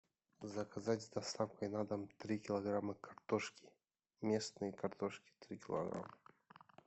заказать с доставкой на дом три килограмма картошки местной картошки три килограмма